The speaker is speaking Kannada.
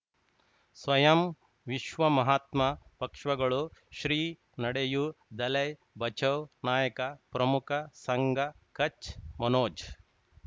ಸ್ವಯಂ ವಿಶ್ವ ಮಹಾತ್ಮ ಪಕ್ಷಗಳು ಶ್ರೀ ನಡೆಯೂ ದಲೈ ಬಚೌ ನಾಯಕ ಪ್ರಮುಖ ಸಂಘ ಕಚ್ ಮನೋಜ್